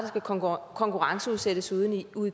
skal konkurrenceudsættes ude i